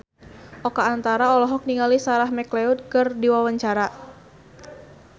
Oka Antara olohok ningali Sarah McLeod keur diwawancara